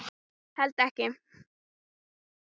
Held ekki.